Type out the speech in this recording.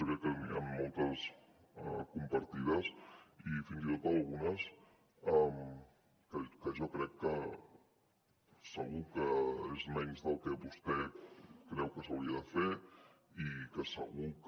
jo crec que n’hi han moltes de compartides i fins i tot algunes que jo crec que segur que és menys del que vostè creu que s’hauria de fer i que segur que